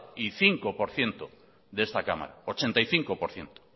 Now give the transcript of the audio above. y cinco por ciento de esta cámara ochenta y cinco por ciento